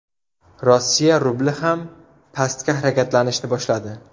Rossiya rubli ham pastga harakatlanishni boshladi.